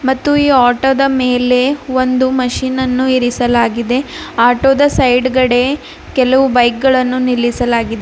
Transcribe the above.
ಮತ್ತು ಈ ಆಟೋ ದ ಮೇಲೆ ಒಂದು ಮಷೀನನ್ನು ಇರಿಸಲಾಗಿದೆ ಆಟೋದ ಸೈಡ್ಗಡೆ ಕೆಲವು ಬೈಕ್ ಗಳನ್ನು ನಿಲ್ಲಿಸಲಾಗಿದೆ.